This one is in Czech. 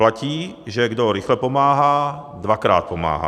Platí, že kdo rychle pomáhá, dvakrát pomáhá.